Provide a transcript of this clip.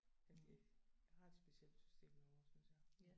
Ja de har et specielt system derovre synes jeg